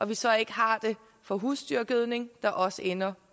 vi så ikke har det for husdyrgødning der også ender